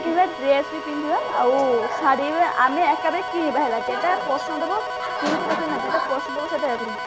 dress ବି ପିନ୍ଧିବା ଆଉ ଶାଢୀ ଆମେ ଏକାବେଳେ କିଣିବା ହେଲା ଯୋଉଟା ପସନ୍ଦ ହବ ସେଇଟା ଇଏ କରିବୁ